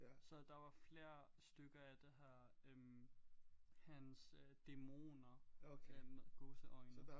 Så der var flere stykker af det her øh hans øh dæmoner øh gåseøjne